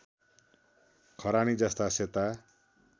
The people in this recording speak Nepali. खरानी जस्ता सेता